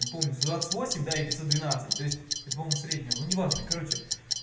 не помню двадцать восемь или пятьсот двенадцать то есть по-моему среднего ну неважно короче